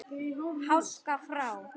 Háska frá.